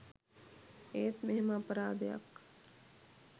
ඒත් මෙහෙම අපරාධයක්